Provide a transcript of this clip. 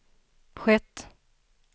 skett